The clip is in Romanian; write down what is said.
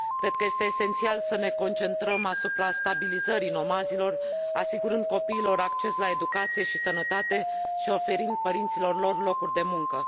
Cred că este esențial să ne concentrăm asupra stabilizării nomazilor, asigurând copiilor acces la educație și sănătate și oferind părinților lor locuri de muncă.